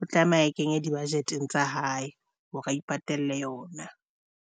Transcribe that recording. o tlameha kenya di-budget tsa hae hore o ipatalle yona.